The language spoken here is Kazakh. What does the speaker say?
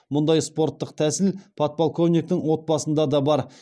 мұндай спорттық тәсіл подполковниктің отбасында да бар